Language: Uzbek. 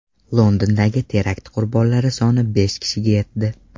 Londondagi terakt qurbonlari soni besh kishiga yetdi.